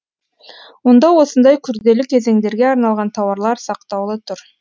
онда осындай күрделі кезеңдерге арналған тауарлар сақтаулы тұр